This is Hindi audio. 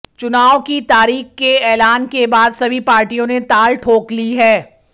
चुनाव की तारीख के ऐलान के बाद सभी पार्टियों ने ताल ठोक ली है